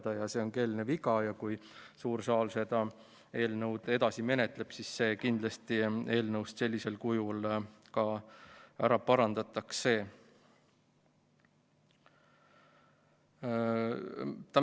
Praegu on eelnõus keeleline viga ja kui suur saal seda eelnõu edasi menetleb, siis võetakse see sellisel kujul kindlasti eelnõust välja ja parandatakse ära.